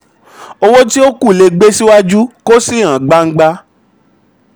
owó tí ó kù le gbé síwájú kó sì hàn gbangba.